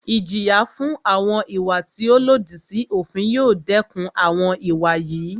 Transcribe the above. Ìjìyà fún àwọn ìwà tí o lòdì sí òfin yóò dẹkùn àwọn ìwà yìí.